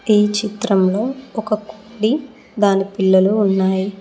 ఈ చిత్రంలో ఒక కోడి దాని పిల్లలు ఉన్నాయి.